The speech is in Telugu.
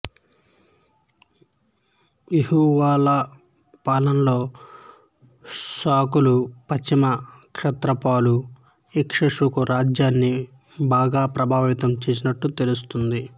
ఎహువాలా పాలనలో షకులు పశ్చిమ క్షత్రపాలు ఇక్ష్వాకు రాజ్యాన్ని బాగా ప్రభావితం చేసినట్లు తెలుస్తుంది